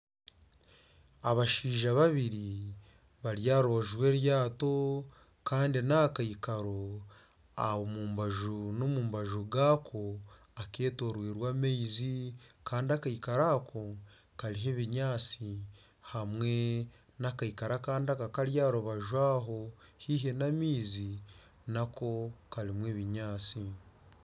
Abashaija babiri bari aha rubaju rw'eryato kandi naha kaikaro omubaju n'omubaju gaako ketorirwe amaizi, kandi akaikaro ako kariho ebinyaatsi hamwe n'ekaikaro akandi akari aha rubaju aho haihi n'amaizi nako karimu ebinyaatsi.